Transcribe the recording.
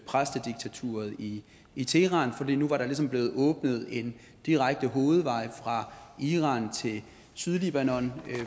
præstediktaturet i i teheran for nu var der ligesom blevet åbnet en direkte hovedvej fra iran til sydlibanon